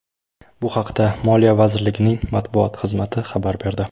Bu haqda Moliya vazirligining matbuot xizmati xabar berdi .